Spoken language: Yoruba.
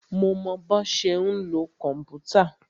Mo mọ bọ́ ṣe ń lo kòmpútà.